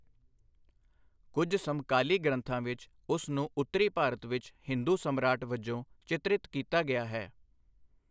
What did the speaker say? ਕੁੱਝ ਸਮਕਾਲੀ ਗ੍ਰੰਥਾਂ ਵਿੱਚ, ਉਸ ਨੂੰ ਉੱਤਰੀ ਭਾਰਤ ਵਿੱਚ ਹਿੰਦੂ ਸਮਰਾਟ ਵਜੋਂ ਚਿਤਰਿਤ ਕੀਤਾ ਗਿਆ ਹੈ।